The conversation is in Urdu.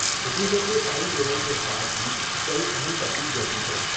حکومت نے ٹائم ٹیبل کے ساتھ ہی کئی اہم تبدیلیاں کی ہیں ۔